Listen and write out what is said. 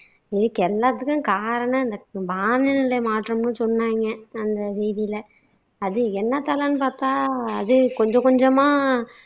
இதுக்கு எல்லாத்துக்கும் காரணம் இந்த காலநிலை மாற்றம்னு சொன்னாங்க அந்த செய்தியில. அது என்னத்ததான்னு பாத்தா அது கொஞ்ச கொஞ்சமா